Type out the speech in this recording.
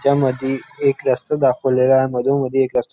त्या मधी एक रस्ता दाखवलेला आहे मधोमध्ये एक रस्ता--